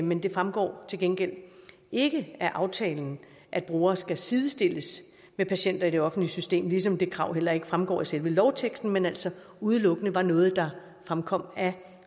men det fremgår til gengæld ikke af aftalen at brugere skal sidestilles med patienter i det offentlige system ligesom det krav heller ikke fremgår af selve lovteksten men altså udelukkende var noget der fremkom af